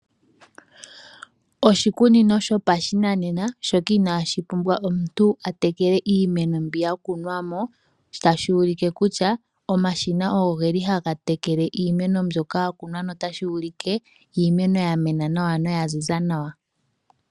Oshikunino shopa shinanena shoka inashi pumbwa omuntu atekele iimeno mbi yakunwamo , tashi ulike kutya omashina ogo geli haga tekele iimeno mbyoka yakunwa ngoka notashi ulike iimeno yamena noya ziza nawa